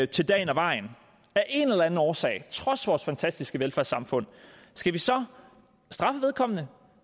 til dagen og vejen af en eller anden årsag trods vores fantastiske velfærdssamfund skal vi så straffe vedkommende